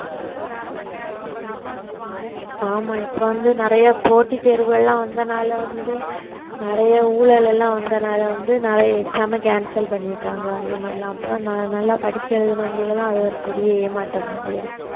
ஆமா இப்ப வந்து நிறைய போட்டித் தேர்வுகள் எல்லாம் வந்ததனால வந்து நிறைய ஊழல் எல்லாம் வந்ததனால வந்து நிறைய exam ம cancel பண்ணிட்டாங்க அந்த மாதிரி எல்லாம் அப்ப ந~ நல்லா படிச்சு எழுதினவங்களுக்கு எல்லாம் அது ஒரு பெரிய ஏமாற்றமாகவே இருக்கும்